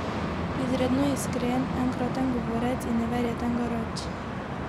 Izredno iskren, enkraten govorec in neverjeten garač.